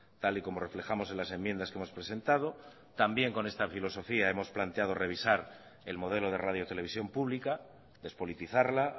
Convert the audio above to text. tal y como reflejamos en las enmiendas que hemos presentado también con esta filosofía hemos planteado revisar el modelo de radio televisión pública despolitizarla